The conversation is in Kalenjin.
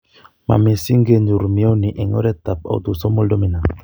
Ma mising kenyotu mioni en oret ab autosomal dominant